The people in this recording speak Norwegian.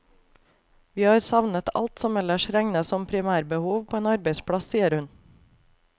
Vi har savnet alt som ellers regnes som primærbehov på en arbeidsplass, sier hun.